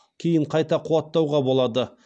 кейін қайта қуаттауға болады